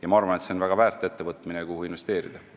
Ja ma arvan, et see on väga väärt ettevõtmine, kuhu investeerida.